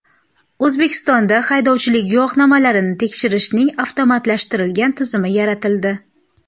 O‘zbekistonda haydovchilik guvohnomalarini tekshirishning avtomatlashtirilgan tizimi yaratildi.